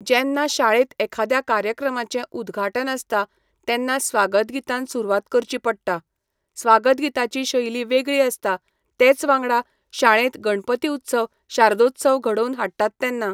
जेन्ना शाळेंत एखाद्या कार्यक्रमांचे उद्घाटन आसता तेन्ना स्वागत गीतान सुरवात करची पडटा. स्वागत गिताची शैली वेगळी आसता तेच वांगडा शाळेंत गणपती उत्सव शारदोत्सव घडोवन हाडटात तेन्ना